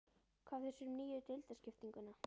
Hvað finnst þér um nýju deildarskiptinguna?